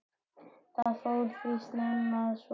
Það fór því snemma svo, að